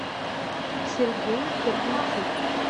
сергей гордейчук